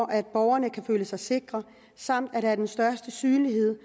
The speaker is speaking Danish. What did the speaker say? at borgerne kan føle sig sikre samt at der er den største synlighed